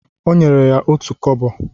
Ọ nyere ya otú kobo